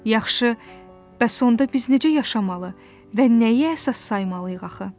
Yaxşı, bəs onda biz necə yaşamalı və nəyi əsas saymalıyıq axı?